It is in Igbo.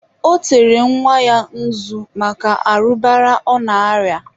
ọ tere nwa ya nzu maka arụbara ọ na-arịa.